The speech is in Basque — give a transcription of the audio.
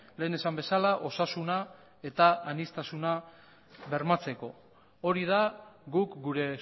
lehen esan bezala osasuna eta aniztasuna bermatzeko hori da guk gure